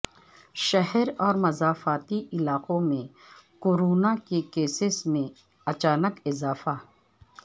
شہر اور مضافاتی علاقوں میں کورونا کے کیسیس میں اچانک اضافہ